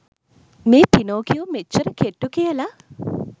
මේ පිනොකියෝ මෙච්චර කෙට්ටු කියල